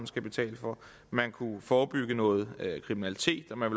skal betale for man kunne forebygge noget kriminalitet og man